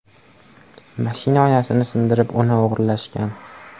Mashina oynasini sindirib, uni o‘g‘irlashgan.